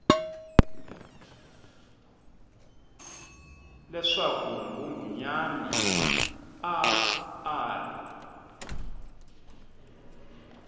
leswaku nghunghunyana a a ri